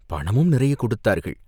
பணமும் நிறையக் கொடுத்தார்கள்.